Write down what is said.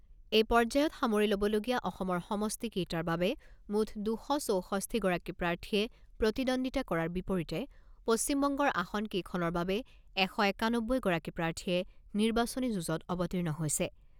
এই পৰ্যায়ত সামৰি ল'বলগীয়া অসমৰ সমষ্টি কেইটাৰ বাবে মুঠ দুশ চৌষষ্ঠি গৰাকী প্ৰাৰ্থীয়ে প্ৰতিদ্বন্দ্বিতা কৰাৰ বিপৰীতে পশ্চিবংগৰ আসন কেইখনৰ বাবে এশ একানব্বৈগৰাকী প্ৰাৰ্থীয়ে নিৰ্বাচনী যুঁজত অৱতীৰ্ণ হৈছে।